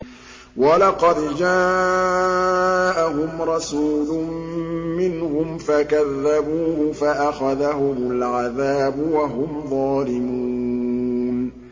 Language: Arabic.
وَلَقَدْ جَاءَهُمْ رَسُولٌ مِّنْهُمْ فَكَذَّبُوهُ فَأَخَذَهُمُ الْعَذَابُ وَهُمْ ظَالِمُونَ